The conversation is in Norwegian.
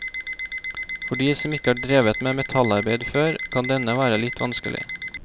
For de som ikke har drevet med metallarbeid før, kan denne være litt vanskelig.